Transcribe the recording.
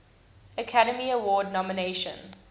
academy award nomination